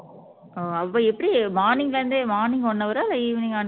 ஓ அப்ப எப்படி morning ல இருந்தே morning one hour ஆ இல்ல evening